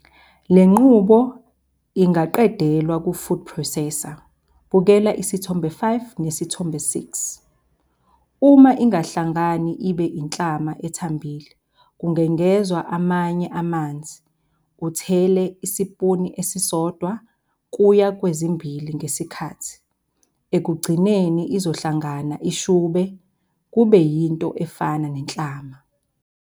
Le nqubo ingaqedelwa ku-food processor, bukela Isithombe 5 neSithombe 6. Uma ingahlangani ibe inhlama ethambile, kungengezwa amanye amanzi, uthele isipunu esisodwa kuya kwezimbili ngesikhathi. Ekugcineni izohlangana ishube, kube yinto efana nenhlama.